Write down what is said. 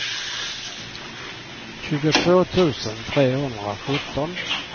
tjugotvå tusen trehundrasjutton